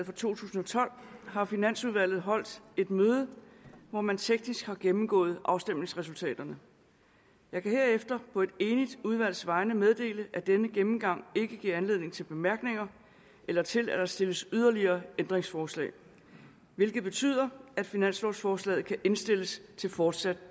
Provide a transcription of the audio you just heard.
for to tusind og tolv har finansudvalget holdt et møde hvor man teknisk har gennemgået afstemningsresultaterne jeg kan herefter på et enigt udvalgs vegne meddele at denne gennemgang ikke giver anledning til bemærkninger eller til at der stilles yderligere ændringsforslag hvilket betyder at finanslovforslaget kan indstilles til fortsat